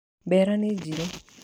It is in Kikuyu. Mbera nĩ njĩru.